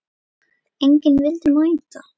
Enginn vildi mæta.